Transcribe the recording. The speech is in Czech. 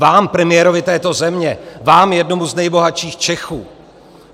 Vám, premiérovi této země, vám, jednomu z nejbohatších Čechů.